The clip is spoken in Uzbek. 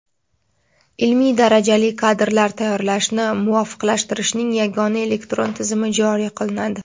ilmiy darajali kadrlar tayyorlashni muvofiqlashtirishning yagona elektron tizimi joriy qilinadi.